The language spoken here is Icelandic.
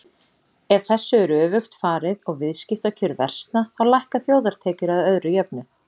Ef þessu er öfugt farið og viðskiptakjör versna þá lækka þjóðartekjur að öðru jöfnu.